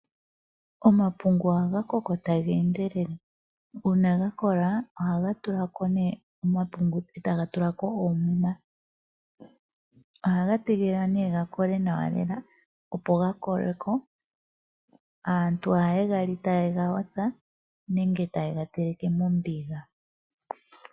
Omapungu ohaga koko taga endelele, uuna ga kola ohaga tula ko omapungu etaga tula ko oomuma. Ohaga tege lelikwa ga kole nawa lela, opo ga kolwe ko. Aantu ohaye ga li taye ga yotha nenge yega teleke mombiga.